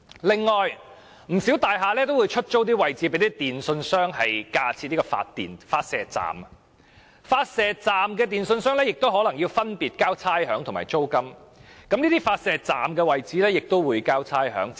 另外，不少大廈都會出租位置給電訊商架設發射站，電訊商亦要繳付有關位置的差餉和租金，其發射站亦須繳交差餉。